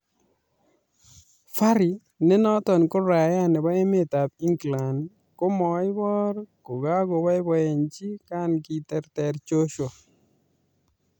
Fury ne noton ko raia nebo emetab England komoibor kokaboiboiyenchi kan kiterter Joshua